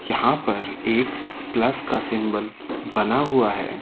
यहां पर एक प्लस का सिंबल बना हुआ है।